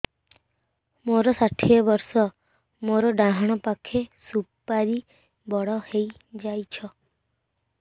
ମୋର ଷାଠିଏ ବର୍ଷ ମୋର ଡାହାଣ ପାଖ ସୁପାରୀ ବଡ ହୈ ଯାଇଛ